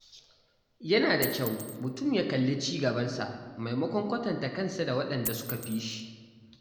Yana da kyau mutum ya kalli ci gabansa maimakon kwatanta kansa da waɗanda suka fi shi.